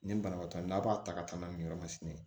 Nin banabaatɔ n'a b'a ta ka taa n'a ye nin yɔrɔ masina ye